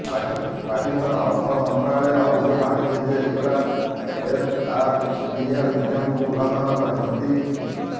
ପାକିସ୍ତାନ ଅର୍ଥ ମନ୍ତ୍ରଣାଳୟ ଅଭିଯୋଗ ଆଣିଛି ଯେ ଇମ୍ରାନ ଏଫଆରଡିଏଲ ନିୟମକୁ ଉଲ୍ଲଂଘନ କରିଛନ୍ତି